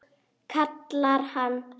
kallar hann.